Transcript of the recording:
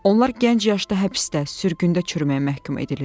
Onlar gənc yaşda həbsdə, sürgündə çürüməyə məhkum ediliirlər.